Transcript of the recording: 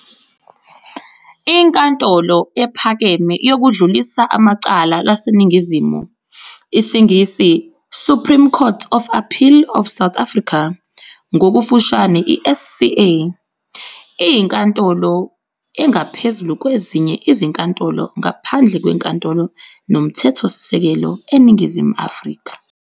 INkantolo ePhakeme yokuDlulisa amaCala laseNingizimu Afrika, isiNgisi- "Supreme Court of Appeal of South Africa", ngokufushane- i-SCA, iyinkantolo engaphezulu kwezinye izinkantolo ngaphandle kweNkantolo noMthethosisekelo eNingizimu Afrika.